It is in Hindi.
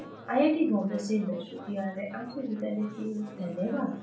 यह ट्यूटोरियल this अमित कुमार द्वारा अनुवादित है आईआईटी बॉम्बे से मैं श्रुति आर्य आपसे विदा लेती हूँ धन्यवाद